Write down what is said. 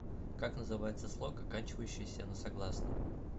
как называется слог оканчивающийся на согласный